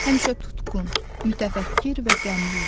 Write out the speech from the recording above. Həmişə tutqun, mütəfəkkir və qəmli idi.